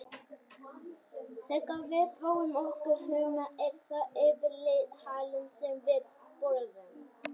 Þegar við fáum okkur humar er það yfirleitt halinn sem við borðum.